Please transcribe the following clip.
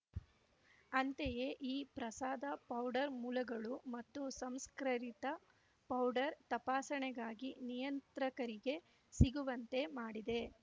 ಅಂತೆಯೇ ಈ ಪ್ರಸಾದ ಪೌಡರ್ ಮೂಲಗಳು ಮತ್ತು ಸಂಸ್ಕರಿತ ಪೌಡರ್ ತಪಾಸಣೆಗಾಗಿ ನಿಯಂತ್ರಕರಿಗೆ ಸಿಗುವಂತೆ ಮಾಡಿದೆ